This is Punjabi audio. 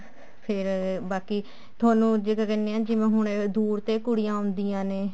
ਫ਼ੇਰ ਬਾਕੀ ਤੁਹਾਨੂੰ ਤੁਸੀਂ ਕਹਿਨੇ ਹੀ ਦੂਰ ਤੇ ਕੁੜੀਆਂ ਆਉਂਦੀਆਂ ਨੇ